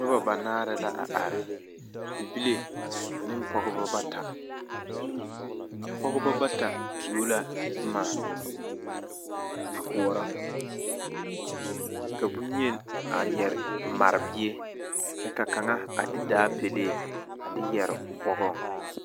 Noba banaare la a are bibile ane pɔɔbɔ bata a pɔɡeba bata tuo la boma a koɔrɔ ka bonyi a mare bie kyɛ ka kaŋa a de daapelee a de yɛre o bɔɡɔŋ.